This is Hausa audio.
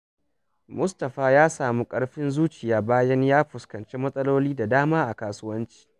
Mustapha ya samu ƙarfin zuciya bayan ya fuskanci matsaloli da dama a kasuwanci.